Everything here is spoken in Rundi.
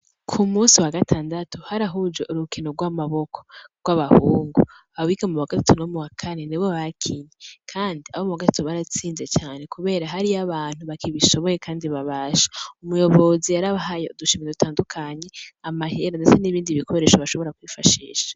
Ku munsi wa gatandatu harahujwe urukino gw' amaboko gw' ababuhungu abiga muwagatatu no muwakane nibo bakinye kandi abo muwagatatu baratsinze cane kubera hariyo abantu bakibishoboye kandi babasha umuyobozi yarabahaye udushimwe dutandukanye amahera ndetse n' ibindi bikoresho bashobora kwifashisha.